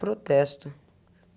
Protesto.